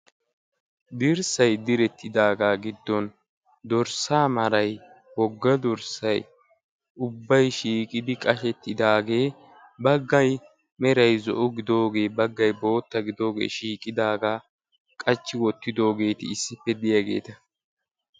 Dirssay direttidagaa giddon dorssaa maray wogga dorssay ubbay shiiqidi qashshettidagee baggay meray zo'o gidoogee baggay bootta gidoogee shiiqidagaa qachchi wottidogeti issippe diyaageta.